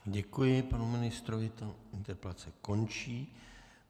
Děkuji panu ministrovi, tato interpelace končí.